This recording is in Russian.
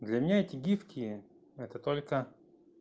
для меня эти гифки это только